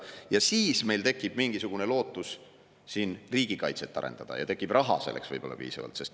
Ja siis meil tekib mingisugune lootus siin riigikaitset arendada ja tekib selleks võib-olla piisavalt raha.